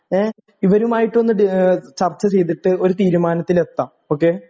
ഏ ഇവരുമായിട്ടൊന്ന് ടീ ഏഹ് ചർച്ച ചെയ്തിട്ട് ഒരു തീരുമാനത്തിലെത്താം.ഓക്കേ